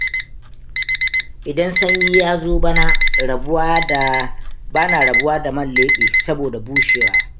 Idan sanyi ya zo bana rabuwa da man leɓe, saboda bushewa.